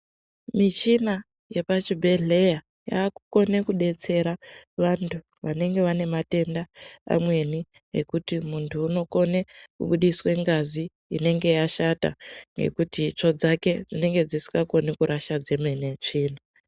Michina yepachibhedhlera yaakukone kudetsera vantu vanenge vanematenda amweni ekuti muntu unokone kubudiswe ngazi inenge yashata ngekuti itsvo dzake dzinenge dzisingakoni kurasha dzemene tsvina.